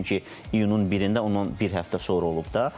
Çünki iyunun 1-də onun bir həftə sonra olub da.